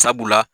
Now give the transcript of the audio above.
Sabula